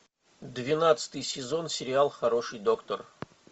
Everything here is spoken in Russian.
двенадцатый сезон сериал хороший доктор